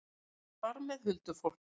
Og þar með huldufólk?